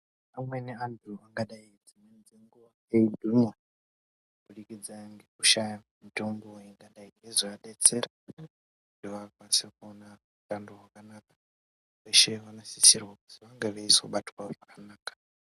Amweni antu angadai dzimweni dzenguwa eigwinya kubudikidza ngekushaya mutombo yangadai yeizovadetsera kuti vakwanise kunwa utando hwakanaka vese vanosisirwa kuzi vange veizobatwa zvakanaka.